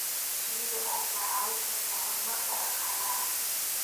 Shinnidu waxay kicin kartaa horumarka dhaqaalaha.